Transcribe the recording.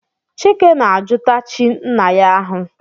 Chike na-ajụta chi nna ya ahụ.